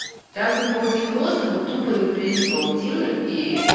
так бы пауки просто бы тупо не плели паутину и